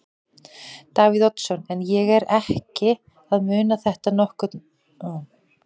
Davíð Oddsson: En er ég ekki að muna þetta nokkurn veginn rétt þá?